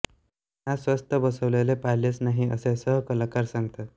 त्यांना स्वस्थ बसलेले पाहिलेच नाही असे सहकलाकार सांगतात